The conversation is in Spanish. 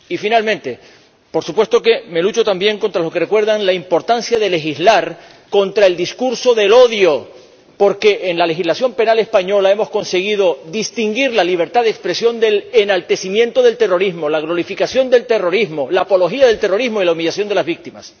Y, finalmente, por supuesto que me sumo también a los que recuerdan la importancia de legislar contra el discurso del odio, porque en la legislación penal española hemos conseguido distinguir la libertad de expresión del enaltecimiento del terrorismo, la glorificación del terrorismo, la apología del terrorismo y la humillación de las víctimas.